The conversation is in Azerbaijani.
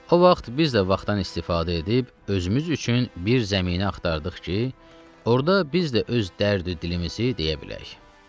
O vaxt biz də vaxtdan istifadə edib özümüz üçün bir zəminə axtardıq ki, orda biz də öz dərdi dilimizi deyə bilək.